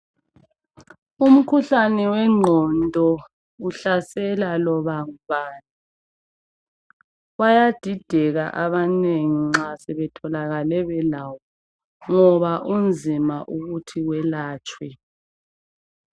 Umkhuhlane wenqondo uhlasela loba ngubani bayadideka abanengi nxa sebetholakale belayo ngoba unzima ukuthi welatshwe.